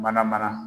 Mana mana